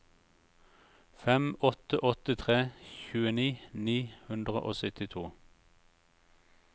fem åtte åtte tre tjueni ni hundre og syttito